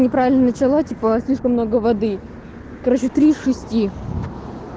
неправильно начала типа слишком много воды короче три из шести